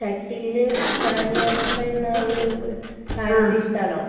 ഷട്ടിലിൽ സാനിയ മിർസ എന്ന ഒരു താരത്തെ ഇഷ്ടമാണോ?